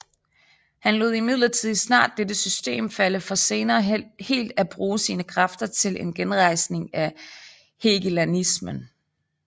Han lod imidlertid snart dette system falde for senere helt at bruge sine kræfter til en genrejsning af hegelianismen